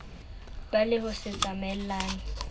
ba le ho se tsamaelane